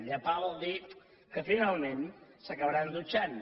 llepar vol dir que finalment s’acabaran dutxant